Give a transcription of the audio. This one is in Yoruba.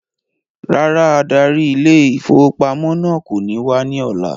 Rárá adarí ile-ìfowópamó náà kò ní wá ní ọ̀la